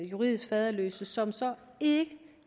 juridisk faderløse børn som så ikke